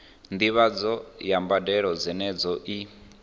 ndivhadzo ya mbadelo dzenedzo i